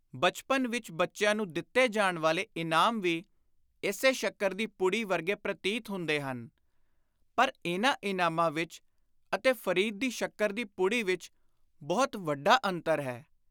ਬਚਪਨ ਵਿਚ ਬੱਚਿਆਂ ਨੂੰ ਦਿੱਤੇ ਜਾਣ ਵਾਲੇ ਇਨਾਮ ਵੀ ਇਸੇ ਸ਼ੱਕਰ ਦੀ ਪੁੜੀ ਵਰਗੇ ਪ੍ਰਤੀਤ ਹੁੰਦੇ ਹਨ ਪਰ ਇਨ੍ਹਾਂ ਇਨਾਮਾਂ ਵਿਚ ਅਤੇ ਫ਼ਰੀਦ ਦੀ ਸ਼ੱਕਰ ਦੀ ਪੁੜੀ ਵਿਚ ਬਹੁਤ ਵੱਡਾ ਅੰਤਰ ਹੈ।